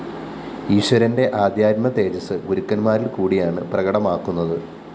ഈശ്വരന്റെ ആദ്ധ്യാത്മതേജസ്സ് ഗുരുക്കന്മാരില്‍ കൂടിയാണ് പ്രകടമാക്കുന്നത്